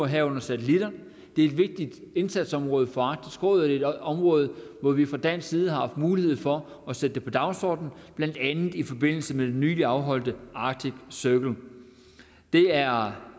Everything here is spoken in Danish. herunder satelitter det er et vigtigt indsatsområde for arktisk råd er et område hvor vi fra dansk side har haft mulighed for at sætte det på dagsordenen blandt andet i forbindelse med det nyligt afholdte arctic circle det er